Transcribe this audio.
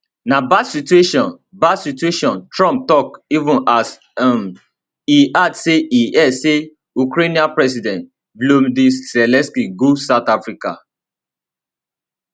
na bad situation bad situation trump tok even as um e add say e hear say ukrainian president volodymyr zelensky go south africa